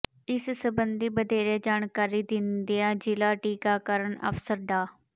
ਇਸ ਸਬੰਧੀ ਵਧੇਰੇ ਜਾਣਕਾਰੀ ਦਿੰਦਿਆਂ ਜਿਲ੍ਹਾ ਟੀਕਾਕਰਨ ਅਫਸ਼ਰ ਡਾ